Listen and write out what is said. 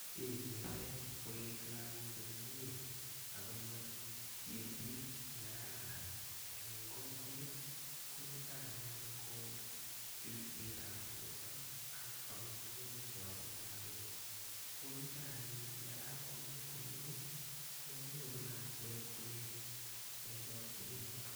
Kiy neyoe koet lalgok komie ak konyor kerset ne kararan en kokwet ko niton anyun ko ripset ab borto ak amitwogik che ame lagok ko nito anyun ndakan koamis komie konyor lakwet koet en chokinet.